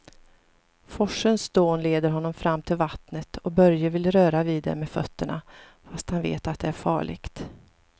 Forsens dån leder honom fram till vattnet och Börje vill röra vid det med fötterna, fast han vet att det är farligt.